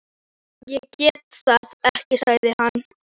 Ég get það ekki sagði hann.